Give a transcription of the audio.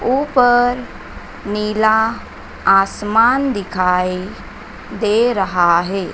ऊपर नीला आसमान दिखाई दे रहा है।